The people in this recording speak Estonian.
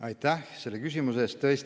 Aitäh selle küsimuse eest!